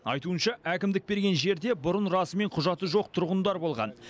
айтуынша әкімдік берген жерде бұрын расымен құжаты жоқ тұрғындар болған